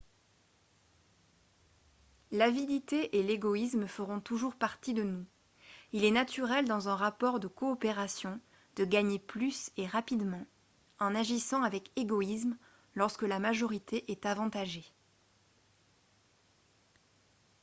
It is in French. l'avidité et l'égoïsme feront toujours partie de nous il est naturel dans un rapport de coopération de gagner plus et rapidement en agissant avec égoïsme lorsque la majorité est avantagée